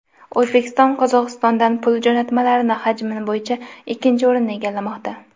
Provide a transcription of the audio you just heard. O‘zbekiston Qozog‘istondan pul jo‘natmalari hajmi bo‘yicha ikkinchi o‘rinni egallamoqda.